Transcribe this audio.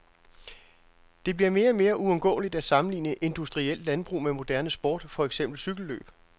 Det bliver mere og mere uundgåeligt at sammenligne industrielt landbrug med moderne sport, for eksempel cykellløb.